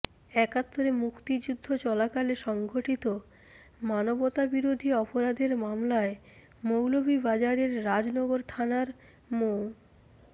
একাত্তরে মুক্তিযুদ্ধ চলাকালে সংঘটিত মানবতাবিরোধী অপরাধের মামলায় মৌলভীবাজারের রাজনগর থানার মো